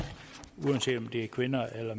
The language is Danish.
uanset om det er kvinder eller